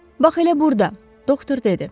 Bax elə burda, doktor dedi.